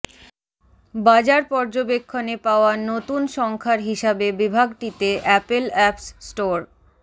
বাজার পর্যবেক্ষণে পাওয়া নতুন সংখ্যার হিসাবে বিভাগটিতে অ্যাপল অ্যাপস স্টোর